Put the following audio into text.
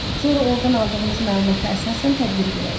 Sonra ordan aldığımız məlumata əsasən tədbir görərik.